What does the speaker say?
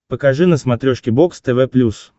покажи на смотрешке бокс тв плюс